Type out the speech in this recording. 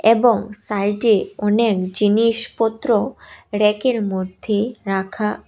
এবং সাইডে অনেক জিনিসপত্র ব়্যাকের মধ্যে রাখা।